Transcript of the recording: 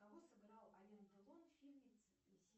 кого сыграл ален делон в фильме